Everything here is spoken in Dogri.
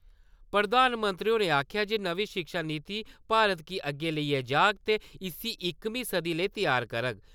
प्रधानमंत्री होरें आक्खेआ जे नमीं शिक्षा नीति भारत गी अग्गै लेइयै जाग ते इस्सी इकमीं सदी लेई तैयार करग।